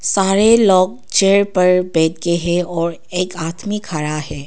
सारे लोग चेयर पर बैठे के हैं और एक आदमी खड़ा है।